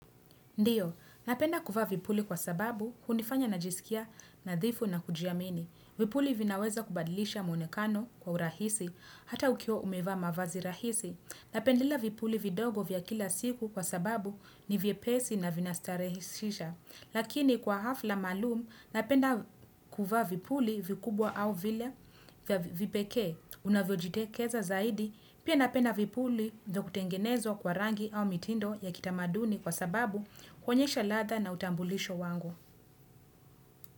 Ndiyo, napenda kuvaa vipuli kwa sababu, hunifanya najisikia nadhifu na kujiamini. Vipuli vinaweza kubadilisha mwonekano kwa urahisi, hata ukiwa umevaa mavazi rahisi. Napendelea vipuli vidogo vya kila siku kwa sababu ni vye pesi na vina starehishisha. Lakini kwa hafla maalum, napenda kuvaa vipuli vikubwa au vile vipeke, unavyojitekeza zaidi, pia na penda vipuli vyakutengenezwa kwa rangi au mitindo ya kitamaduni kwa sababu huonyesha ladha na utambulisho wangu.